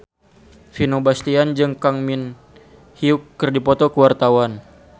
Vino Bastian jeung Kang Min Hyuk keur dipoto ku wartawan